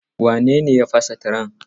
Wane ne ya fasa tiren?